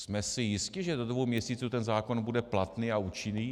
Jsme si jisti, že do dvou měsíců ten zákon bude platný a účinný?